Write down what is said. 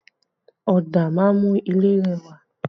Ọ̀dà máa ń mú ilé rẹwà